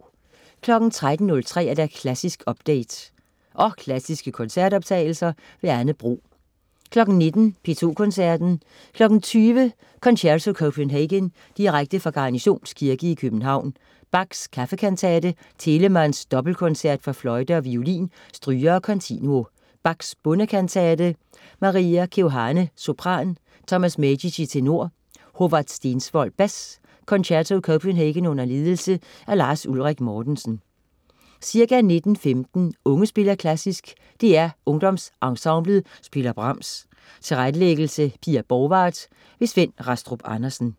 13.03 Klassisk update. Og klassiske koncertoptagelser. Anne Bro 19.00 P2 Koncerten. 20.00 Concerto Copenhagen, direkte fra Garnisons Kirke i København. Bach: Kaffekantate. Telemann: Dobbelkoncert for fløjte og violin, strygere og continuo. Bach: Bondekantate. Maria Keohane, sopran. Tomas Medici, tenor. Håvard Stensvold, bas. Concerto Copenhagen under ledelse af Lars Ulrik Mortensen. Ca. 19.15 Unge spiller klassisk. DR UngdomsEnsemblet spiller Brahms. Tilrettelæggelse: Pia Borgwardt. Svend Rastrup Andersen